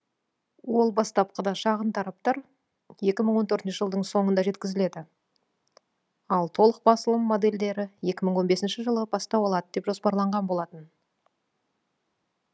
ол бастапқыда шағын тараптар екі мың он төртінші жылдың соңында жеткізіледі ал толық басылым модельдері екі мың он бесінші жылы бастау алады деп жоспарланған болатын